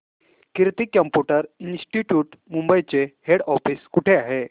कीर्ती computer institute Mumbai चे head office कुठे आहे